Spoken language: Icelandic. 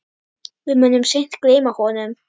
Við munum seint gleyma honum.